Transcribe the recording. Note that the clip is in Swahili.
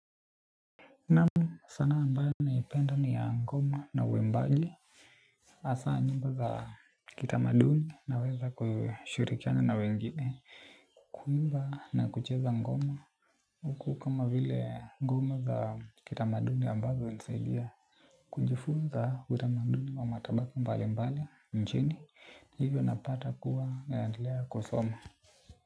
Naam sanaa ambayo naipenda ni ya ngoma na waimbaje hAsa nyimbo za kitamaduni naweza kushirikiana na wengine. Kuimba na kucheza ngoma huku kama vile ngoma za kitamaduni ambavyo hunisaidia. Kujifunza utamaduni wa matabaki mbali mbali nchini. Hivyo napata kuwa naendelea kusoma.